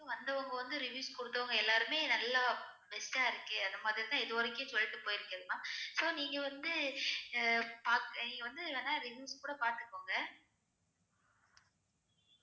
வந்தவங்க வந்து reviews குடுத்தவங்க எல்லாருமே நல்லா best அ இருக்கு அந்த மாறி தான் இது வரைக்கும் சொல்லிட்டு போயிருக்காங்க so நீங்க வந்து அஹ் பாக்க நீங்க வந்து வேணா review கூட பாத்துக்கோங்க